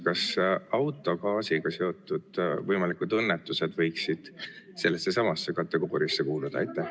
Kas autogaasiga seotud võimalikud õnnetused võiksid sellesse samasse kategooriasse kuuluda?